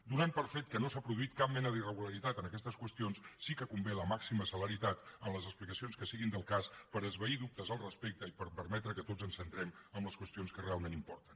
donant per fet que no s’ha produït cap mena d’irregularitat en aquestes qüestions sí que convé la màxima celeritat en les explicacions que siguin del cas per esvair dubtes al respecte i per permetre que tots ens centrem en les qüestions que realment importen